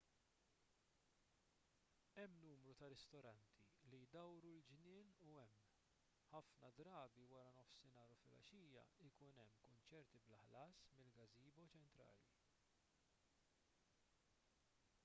hemm numru ta' ristoranti li jdawru l-ġnien u hemm ħafna drabi wara nofsinhar u flgħaxija ikun hemm kunċerti bla ħlas mill-gazebo ċentrali